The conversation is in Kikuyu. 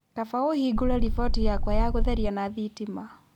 Kaba ũhingũre roboti yakwa ya gũtheria na thitima